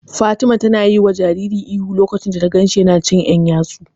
Fatima ta yiwa jaririn ihu lokacin da ta ganshi yana cin ƴan yatsu.